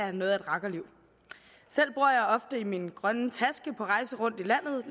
er noget af et rakkerliv selv bor jeg ofte i min grønne taske på rejse rundt i landet